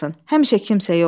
Həmişə kimsə yoxdur.